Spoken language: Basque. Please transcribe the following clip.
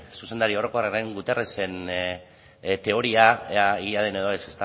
zuzendari orokorraren guterresen teoria ea egia den edo ez